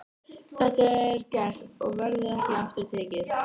Þetta er gert og verður ekki aftur tekið.